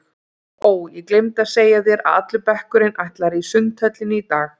Ó, ég gleymdi að segja þér að allur bekkurinn ætlar í Sundhöllina í dag